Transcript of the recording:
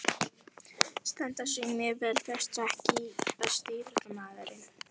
Standa sig mjög vel flestir EKKI besti íþróttafréttamaðurinn?